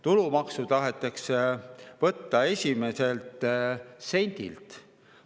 Tulumaksu tahetakse võtta esimesest sendist.